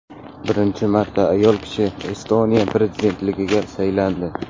Birinchi marta ayol kishi Estoniya prezidentligiga saylandi.